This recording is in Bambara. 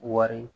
Wari